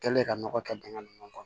Kɛlen ka nɔgɔ kɛ dingɛ ninnu kɔnɔ